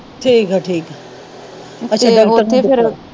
ਠੀਕ ਆ ਠੀਕ ਆ ਅੱਛਾ ਡਾਕਟਰ